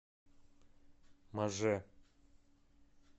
маже